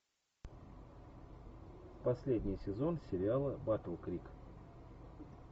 последний сезон сериала батл крик